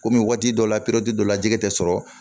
Komi waati dɔ la dɔ la jɛgɛ tɛ sɔrɔ